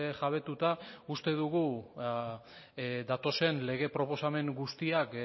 jabetuta uste dugu datozen lege proposamen guztiak